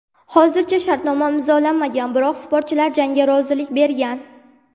Hozircha shartnoma imzolanmagan, biroq sportchilar jangga rozilik bergan.